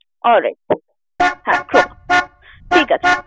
All right sir । হ্যাঁ Croma ঠিকাছে।